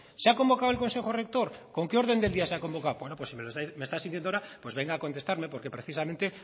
se ha convocado el consejo rector con qué orden del día de la convocado bueno pues si me está asintiendo ahora pues venga a contestarme porque precisamente